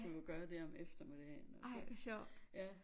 Skulle jeg gøre det om eftermiddagen og så ja